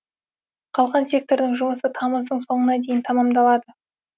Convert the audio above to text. қалған сектордың жұмысы тамыздың соңына дейін тамамдалады